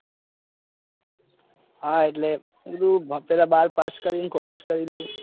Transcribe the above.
હા એટલે પેલું બા pass કરીને college કરીને.